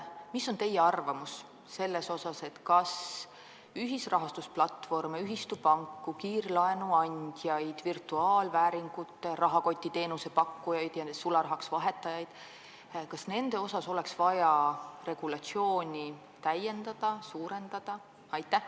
Mida te arvate, kas ühisrahastusplatvorme, ühistupanku, kiirlaenuandjaid, virtuaalvääringute rahakoti teenuse pakkujaid ja sularahaks vahetajaid oleks vaja enam ohjata, seda regulatsiooni täiendada?